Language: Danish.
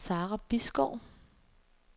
Sarah Bisgaard